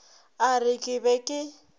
a re ke be ke